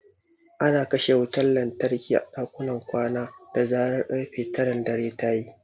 Ana kashe wutar lantarki a dakunan kwana da zarar ƙarfe taran dare ta yi.